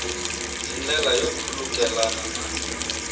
hi ndlela yo khulukelana na